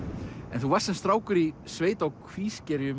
en þú varst sem strákur í sveit á Kvískerjum